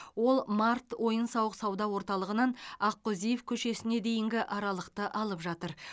ол март ойын сауық сауда орталығынан аққозиев көшесіне дейінгі аралықты алып жатыр